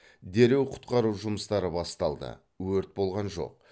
дереу құтқару жұмыстары басталды өрт болған жоқ